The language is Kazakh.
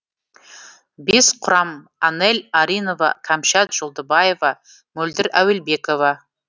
бес құрам анель аринова кәмшат жолдыбаева мөлдір әуелбекова